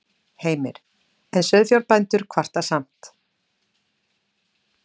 Heimir: En sauðfjárbændur kvarta samt?